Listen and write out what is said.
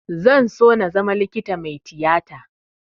Zan so na zama likita mai tiyata